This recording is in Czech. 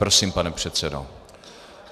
Prosím, pane předsedo.